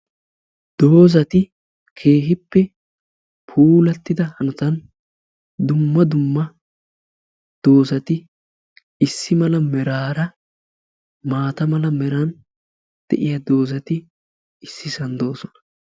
Doozati keehippe puulatida hanotan dumma dumma doozati issi mala meraara maata mala meran de'iya doozati ississan doosona.